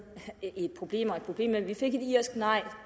af problemerne problem og at vi fik et irsk nej